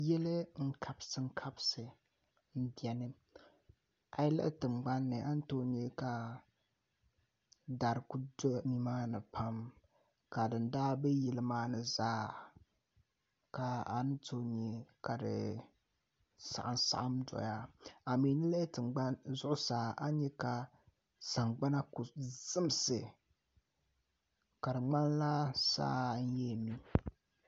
Yili n kabisi kabisi n biɛni a yi lihi tingbanni a ni tooi ku nyɛ ka dari ku do nimaani pam ka din daa bɛ yili maa ni zaa ka a ni tooi nyɛ ka di saɣam saɣam doya a mii yi lihi zuɣusaa a ni nyɛ ka sagbana ku zimsi ka di ŋmanila saa n yɛn mi